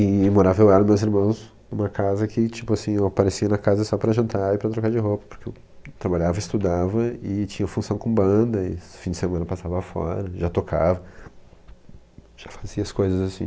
E morava eu e os meus irmãos numa casa que, tipo assim, eu aparecia na casa só para jantar e para trocar de roupa, porque eu trabalhava, estudava e tinha função com banda, e no fim de semana passava fora, já tocava, já fazia as coisas assim.